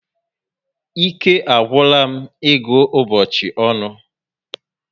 Ike agwula m ịgụ ụbọchị ọnụ